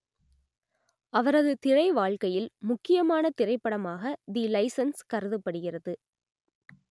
அவரது திரைவாழ்க்கையில் முக்கியமான திரைப்படமாக தி சைலன்ஸ் கருதப்படுகிறது